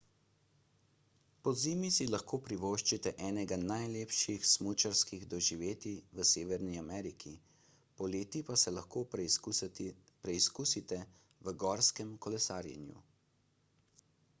pozimi si lahko privoščite enega najlepših smučarskih doživetij v severni ameriki poleti pa se lahko preizkusite v gorskem kolesarjenju